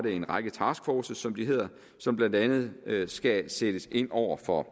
en række taskforces som de hedder som blandt andet skal sættes ind over for